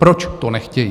Proč to nechtějí?